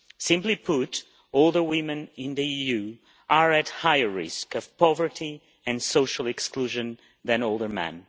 Simply put, older women in the EU are at higher risk of poverty and social exclusion then older men.